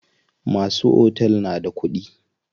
Masu otel na da kuɗi.